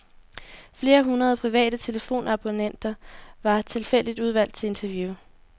Flere hundrede private telefonabonnenter var tilfældigt udvalgt til interview.